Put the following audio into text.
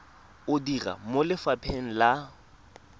o dira mo lefapheng la